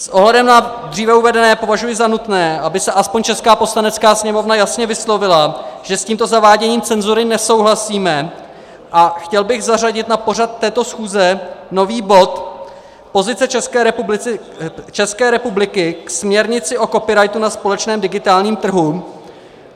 S ohledem na dříve uvedené považuji za nutné, aby se aspoň česká Poslanecká sněmovna jasně vyslovila, že s tímto zaváděním cenzury nesouhlasíme, a chtěl bych zařadit na pořad této schůze nový bod: Pozice České republiky ke směrnici o copyrightu na společném digitálním trhu.